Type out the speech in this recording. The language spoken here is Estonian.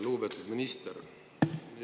Lugupeetud minister!